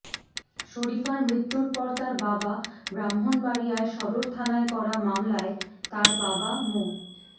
শরীফার মৃত্যুর পর তার বাবা ব্রাহ্মণবাড়িয়া সদর থানায় করা মামলায় তার বাবা মো